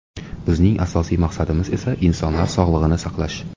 Bizning asosiy maqsadimiz esa insonlar sog‘lig‘ini saqlash.